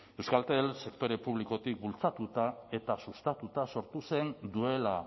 euskaltel sektore publikotik bultzatuta eta sustatuta sortu zen duela